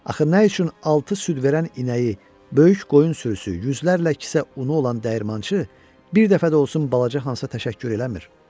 Axı nə üçün altı süd verən inəyi, böyük qoyun sürüsü, yüzlərlə kisə unu olan dəyirmançı bir dəfə də olsun balaca Hansa təşəkkür eləmir?